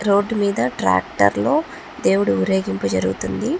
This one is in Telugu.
రోడ్ మీద ట్రాక్టర్ లో దేవుడి ఊరేగింపు జరుగుతుంది.